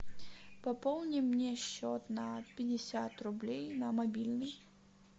пополни мне счет на пятьдесят рублей на мобильный